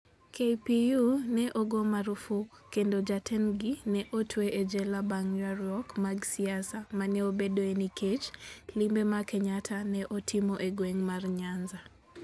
KPU ne ogo marfuk, kendo jatendgi ne otwe e jela bang' ywaruok mag siasa ma ne obedoe nikech limbe ma Kenyatta ne otimo e gweng' mar Nyanza.